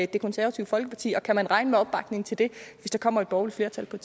det konservative folkeparti og kan man regne med opbakning til det hvis der kommer et borgerligt flertal på